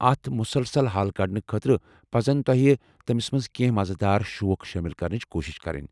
اتھ مسلسل حل كڈنہٕ خٲطرٕ پزن تۄہہ تمِس منٛز کینٛہہ مزٕ دار شوق شٲمِل كرنٕچہِ كوٗشِش كرٕنۍ ۔